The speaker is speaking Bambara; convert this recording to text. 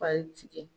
tigɛ